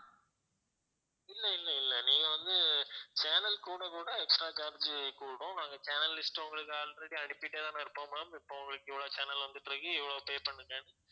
இல்ல இல்ல இல்ல நீங்க வந்து channel கூட கூட extra charge கூடும் நாங்க channel list உங்களுக்கு already அனுப்பிட்டே தான் இருப்போம் ma'am இப்ப உங்களுக்கு இவ்வளவு channel வந்துட்ருக்கு இவ்வளவு pay பண்ணுங்க